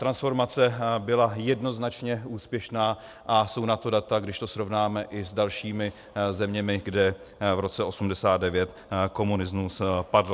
Transformace byla jednoznačně úspěšná a jsou na to data, když to srovnáme i s dalšími zeměmi, kde v roce 1989 komunismus padl.